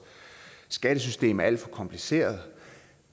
skattesystem er alt for kompliceret